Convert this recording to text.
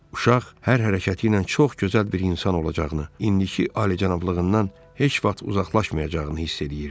Uşaq hər hərəkəti ilə çox gözəl bir insan olacağını, indiki alicənablığından heç vaxt uzaqlaşmayacağını hiss eləyirdi.